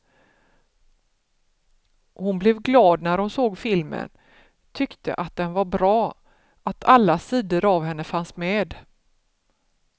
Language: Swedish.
Hon blev glad när hon såg filmen, tyckte att den var bra, att alla sidor av henne fanns med.